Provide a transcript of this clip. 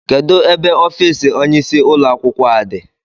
Kedu ebe ọfiisi ónyé isi ụlọ akwụkwọ a dị?